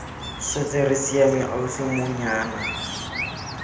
setse re siame ausi monyana